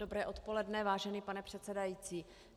Dobré odpoledne, vážený pane předsedající.